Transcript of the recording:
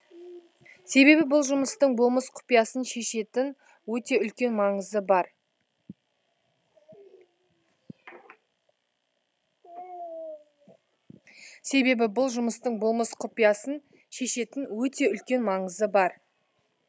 себебі бұл жұмыстың болмыс құпиясын шешетін өте үлкен маңызы бар